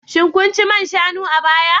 Shin kun ci man shanu a baya